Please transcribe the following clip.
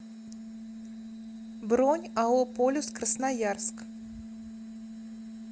бронь ао полюс красноярск